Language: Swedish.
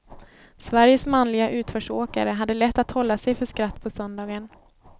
Sveriges manliga utförsåkare hade lätt att hålla sig för skratt på söndagen.